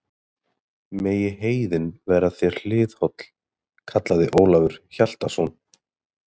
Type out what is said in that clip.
Megi heiðin verða þér hliðholl, kallaði Ólafur Hjaltason.